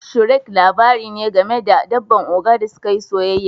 Shrek' labari ne game da dabba oga da suka yi soyayya.